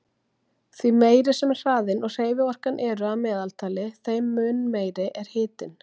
Því meiri sem hraðinn og hreyfiorkan eru að meðaltali, þeim mun meiri er hitinn.